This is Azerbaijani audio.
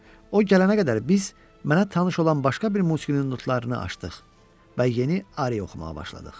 O gələnə qədər biz mənə tanış olan başqa bir musiqinin notlarını açdıq və yeni ari oxumağa başladıq.